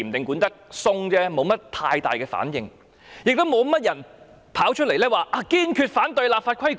因此，各界沒有太大反應，亦沒有人公開表示堅決反對立法規管。